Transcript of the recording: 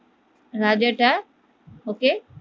রাজাটা ওকে